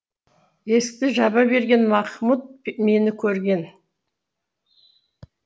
есікті жаба берген махмуд мені көрген